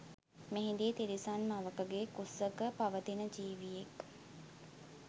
මෙහිදී තිරිසන් මවකගේ කුසක පවතින ජීවියෙක්